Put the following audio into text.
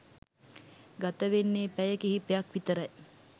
ගතවෙන්නෙ පැය කිහිපයක් විතරයි